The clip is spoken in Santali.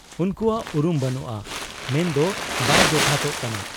ᱩᱱᱠᱩᱣᱟᱜ ᱩᱨᱩᱢ ᱵᱟᱹᱱᱩᱜ ᱟ ᱢᱮᱱᱫᱚ ᱵᱟᱭ ᱡᱚᱛᱷᱟᱛᱚᱜ ᱠᱟᱱᱟ ᱾